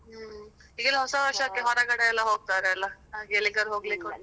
ಹ್ಮ್, ಈಗಳೆಲ್ಲ ಹೊಸ ವರ್ಷಕ್ಕೆ ಹೊರಗಡೆ ಎಲ್ಲ ಹೋಗ್ತಾರೆ ಅಲ ಹಾಗೆ ಎಲ್ಲಿಗಾದ್ರೂ ಹೋಗ್ಲಿಕುಂಟಾ?